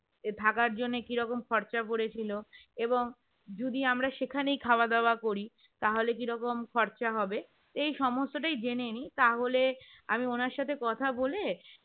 থাকার জন্য কি রকম খরচা পড়েছিল এবং যদি আমরা সেখানেই খাওয়া-দাওয়া করি তাহলে কি রকম খরচা হবে এই সমস্তটাই জেনে নিই তাহলে আমি ওনার সাথে কথা বলে